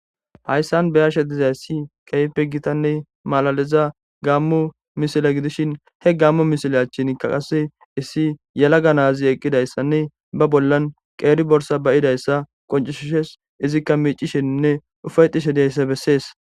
Hayssan beyashe dizayssi keype gitanne malaliza gaammu misila gidishin he gammu misilachinkaqase issi yalaga naazi eqqidayssanne ba bollan qeeri borsa bayidayssa qoncishishes izikka miicisheninne ufayxishe deyssa bessees.